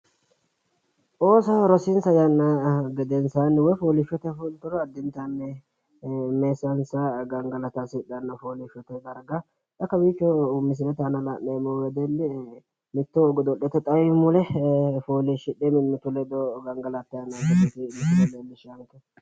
Ooso rosinsa yanna gedensaani woyi foolishshote saatera xawoho fullite mimmitu ledo gangalattanni nootta xawisano